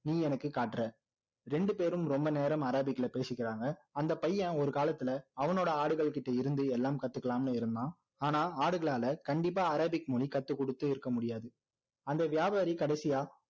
நீ எனக்கு காட்ற ரெண்டு பேரும் ரொம்ப நேரம் அரேபிக்ல பேசிக்கிறாங்க அந்த பையன் ஒரு காலத்துல அவனோட ஆடுகள் கிட்டருந்து எல்லாம் கத்துக்கலாம்னு இருந்தான் ஆனா ஆடுகளால கண்டிப்பா அரேபிக் மொழி கத்துக் கொடுத்திருக்க முடியாது அந்த வியாபாரி கடைசியா